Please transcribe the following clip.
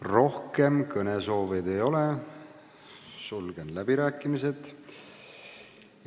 Rohkem kõneleda soovijaid ei ole, sulgen läbirääkimised.